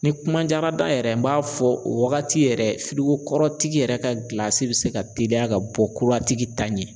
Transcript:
Ni kuma diyara da yɛrɛ n b'a fɔ o wagati yɛrɛ kɔrɔtigi yɛrɛ ka gilasi bɛ se ka teliya ka bɔ kura tigi ta ɲɛ